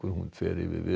fer